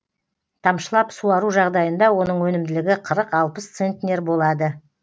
тамшылап суару жағдайында оның өнімділігі қырық алпыс центнер болады